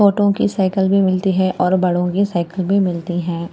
छोटों की साइकिल भी मिलती है और बड़ों की साइकिल भी मिलती है।